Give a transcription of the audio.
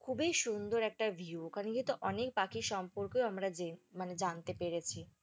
খুবই সুন্দর একটা view ওখানে যেহেতু অনেক পাখির সম্পর্কেও, আমরা মানে জানতে পেরেছি।